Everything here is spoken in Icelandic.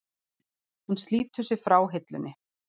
Hann slítur sig frá hillunni.